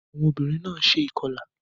Awọn obinrin náà ṣe ikọla